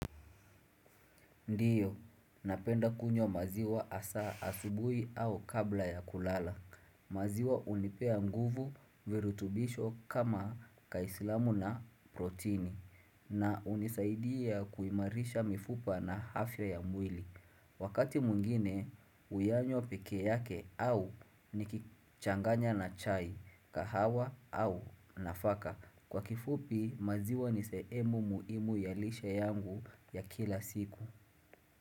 Ndiyo, napenda kunywa maziwa asa asubui au kabla ya kulala. Maziwa unipea nguvu virutubisho kama kaislamu na protini na unisaidia kuimarisha mifupa na hafya ya mwili. Wakati mwingine, uyanywa peke yake au nikichanganya na chai, kahawa au nafaka. Kwa kifupi, maziwa niseemu muimu ya lishe yangu ya kila siku.